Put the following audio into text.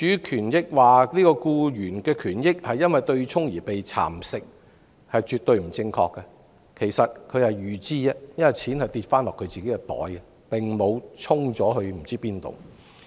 說僱員權益因對沖而被蠶食是絕對不正確的，對沖是預知的安排，金錢最終會落入他們的口袋，並無被"沖"至何處。